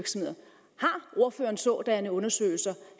ordføreren sådanne undersøgelsee